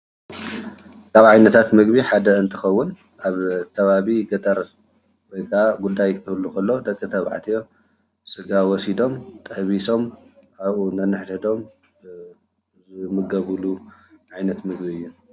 ካብ ዓይነትታት ምግቢ ሓደ እንትኸውን ኣብ ኸባቢ ገጠር ወይከዓ ጉዳይ ክህሉ እንከሎ ደቅተባዕትዮ ሰጋ ወሲዶሞ ጠቢሶም ኣብኡ ነንሕድሕዶም ዝምገብሎም ዓይነት ምግቢ እዩ። ይጠቅመና።